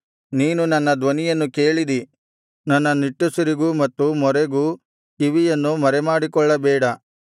ನೀನು ನನ್ನ ಧ್ವನಿಯನ್ನು ಕೇಳಿದಿ ನನ್ನ ನಿಟ್ಟುಸಿರಿಗೂ ಮತ್ತು ಮೊರೆಗೂ ಕಿವಿಯನ್ನು ಮರೆಮಾಡಿಕೊಳ್ಳಬೇಡ